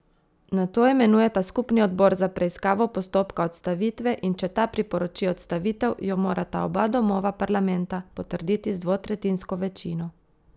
Nato imenujeta skupni odbor za preiskavo postopka odstavitve in če ta priporoči odstavitev, jo morata oba domova parlamenta potrditi z dvotretjinsko večino.